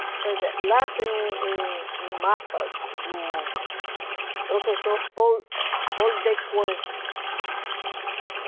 fechado. Pois é. Lá tem um um um mapa do professor Paul Paul Dequan.